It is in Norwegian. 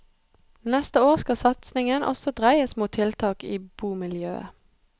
Neste år skal satsingen også dreies mot tiltak i bomiljøet.